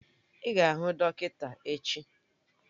Ị ga-ahụ dọkịta echi!